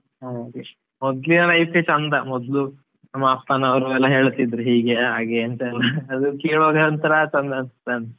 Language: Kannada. ಹಾ ಚಂದ ಮೊದ್ಲು ನಮ್ ಅಪ್ಪನವರು ಎಲ್ಲಾ ಹೇಳ್ತಾ ಇದ್ರು, ಹೀಗೆ ಹಾಗೆ ಎಂತ ಎಲ್ಲ ಅದು ಕೇಳುವಾಗ ಒಂತರಾ ಚಂದ ಅನಿಸ್ತಾ ಉಂಟು.